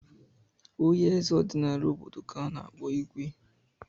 Onye eze ọdịnala obodo ka a na-akpọ Igwe.